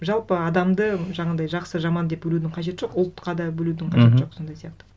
жалпы адамды жаңағындай жақсы жаман деп бөлудің қажеті жоқ ұлтқа да бөлудін мхм қажеті жоқ сондай сияқты